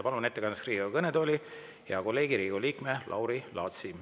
Palun ettekandeks Riigikogu kõnetooli hea kolleegi, Riigikogu liikme Lauri Laatsi.